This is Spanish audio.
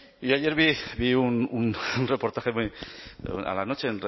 pues yo ayer vi un reportaje a la noche en